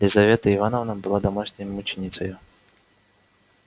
лизавета ивановна была домашней мученицею